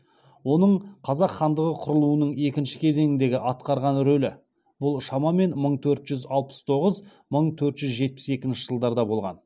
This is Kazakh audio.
оның қазақ хандығы құрылуының екінші кезеңдегі атқарған рөлі бұл шамамен мың төрт жүз алпыс тоғыз мың төрт жүз жетпіс екінші жылдарда болған